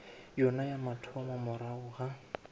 yona ya mathomo morago ga